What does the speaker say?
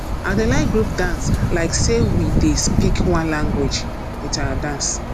i dey like group dance like sey we dey speak one language wit our dance